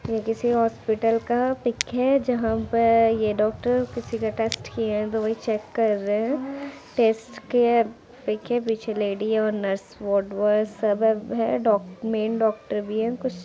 ये किसी हॉस्पिटल का पिक है जहाँ पे ये डॉक्टर किसी का टेस्ट किए है तो वही चेक कर रहे है टेस्ट क्या पीक है पीछे लेडी और नर्स वार्डबॉय सब ब है डॉक् मैन डॉक्टर भी है।